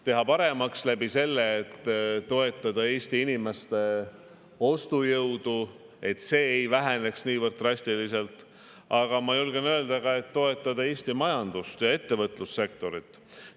Teha paremaks sellega, et toetada Eesti inimeste ostujõudu, et see ei väheneks niivõrd drastiliselt, aga ma julgen öelda ka, et toetada Eesti majandust ja ettevõtlussektorit.